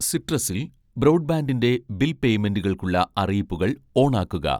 സിട്രസിൽ ബ്രോഡ്ബാൻഡിൻ്റെ ബിൽ പേയ്മെൻ്റുകൾക്കുള്ള അറിയിപ്പുകൾ ഓണാക്കുക